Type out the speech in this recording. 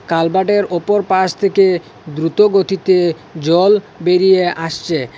কালবাডের ওপর পাশ থেকে দ্রুত গতিতে জল বেরিয়ে আসছে।